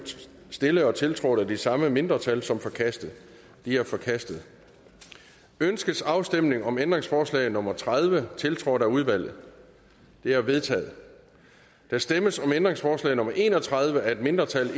stillet og tiltrådt af de samme mindretal som forkastet de er forkastet ønskes afstemning om ændringsforslag nummer tredive tiltrådt af udvalget det er vedtaget der stemmes om ændringsforslag nummer en og tredive af et mindretal